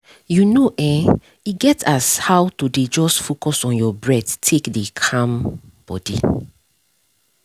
you know[um]e get as how to dey just focus on your breath take dey calm body